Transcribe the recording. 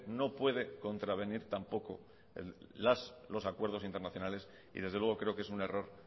no puede contravenir tampoco los acuerdos internacionales y desde luego creo que es un error